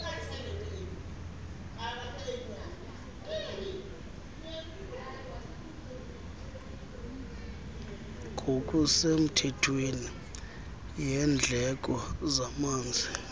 ngokusemthethweni yendleko zamanzi